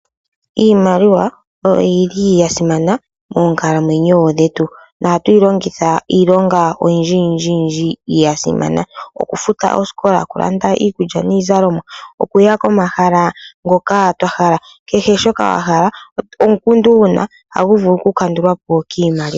Iimaliwa oyo yili yasimana moonkalamwenyo dhetu, ohatu yilongitha iilonga oyindji yindji yasimana, okufuta oosikola, okulanda iikulya niizalomwa, okuya komahala ngoka twahala. Kehe shoka wahala nenge omukundu wuna ohagu vulu oku kandulwa po kiimaliwa.